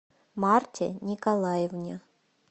марте николаевне